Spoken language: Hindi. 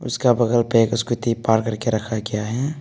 उसका बगल पे एक स्कूटी पार्क कर के रखा गया है।